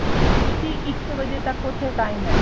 ਤੁਸੀਂ ਇੱਕ ਵਜੇ ਤੱਕ ਉਥੇ time ਏ